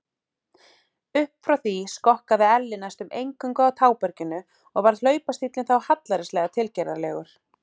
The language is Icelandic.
Upp frá því skokkaði Elli næstum eingöngu á táberginu og varð hlaupastíllinn þá hallærislega tilgerðarlegur.